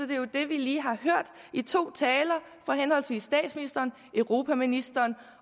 det jo det vi lige har hørt i to taler fra henholdsvis statsministeren og europaministeren